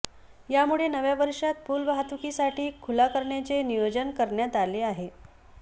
यामुळे नव्या वर्षात पूल वाहतुकीसाठी खुला करण्याचे नियोजन करण्यात आले आहे